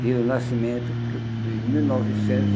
Pelo nascimento, de mil novecentos